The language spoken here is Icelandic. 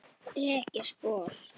Rek ég spor.